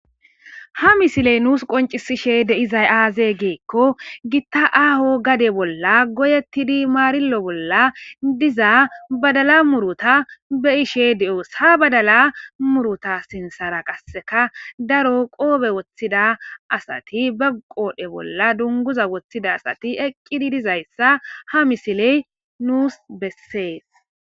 ha misiley nuus qoncisishe de'izay aazee geekko gitta aaho gade bolla goyettidi maarillo bolla diza badala muruta be'ishe de'os ha badala muruta sinsara qasseka daro qoobe woththida asati bagqoodhe bolla dunguza woththida asati eqqidi dizayssa ha misiley nuus bessees